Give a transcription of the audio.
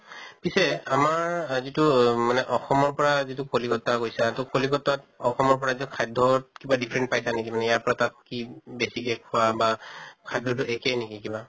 পিছে আমাৰ আ যিটো মানে অসমৰ পৰা যিটো কলিকত্তা গৈছা, তʼ কলিকত্তাত অসমৰ পৰা খাদ্য়ত কিবা difference পাইছা নেকি তুমি ইয়াৰ পৰা তাত কি বেছিকে খোৱা বা খাদ্য়টো একে নেকি কিবা?